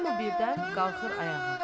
Hamı birdən qalxır ayağa.